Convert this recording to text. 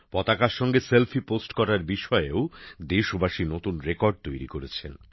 পতাকার সঙ্গে নিজস্বী পোস্ট করার বিষয়েও দেশবাসী নতুন রেকর্ড তৈরি করেছেন